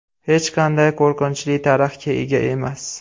Hech qanday qo‘rqinchli tarixga ega emas.